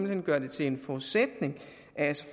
hen gør det til en forudsætning at